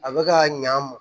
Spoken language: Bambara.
A bɛ ka ɲa a ma